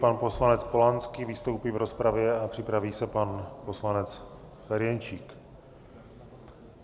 Pan poslanec Polanský vystoupí v rozpravě a připraví se pan poslanec Ferjenčík.